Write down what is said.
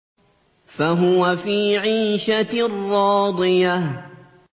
فَهُوَ فِي عِيشَةٍ رَّاضِيَةٍ